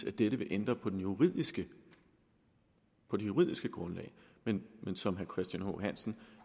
at dette vil ændre på det juridiske juridiske grundlag men som herre christian h hansen